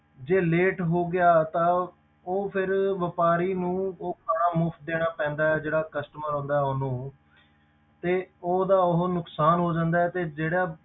ਜੇ late ਹੋ ਗਿਆ ਤਾਂ ਉਹ ਫਿਰ ਵਾਪਾਰੀ ਨੂੰ ਉਹ ਖਾਣਾ ਮੁਫ਼ਤ ਦੇਣਾ ਪੈਂਦਾ ਹੈ, ਜਿਹੜਾ customer ਆਉਂਦਾ ਹੈ ਉਹਨੂੰ ਤੇ ਉਹਦਾ ਉਹ ਨੁਕਸਾਨ ਹੋ ਜਾਂਦਾ ਹੈ ਤੇ ਜਿਹੜਾ